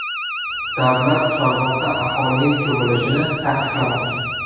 Davlat Chorvoqda aholining cho‘milishini taqiqlamoqchi.